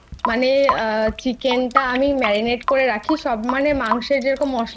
মানে ah Chicken টা আমি Marinet করে রাখি সব মানে মাংসে যেরকম মশলা